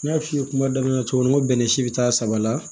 N y'a f'i ye kuma daminɛ cogo min na ko bɛnɛ si bi taa saba la